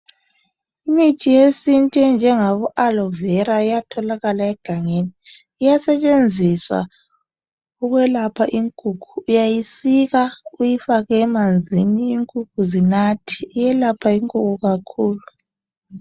Imithi yesintu enjengabo Aloe vera iyatholakala egangeni. Iyasetshenziswa ukwelapha inkukhu. Uyayisika. Uyifake emanzini, inkukhu zinathe. Iyelapha inkukhu kakhulu,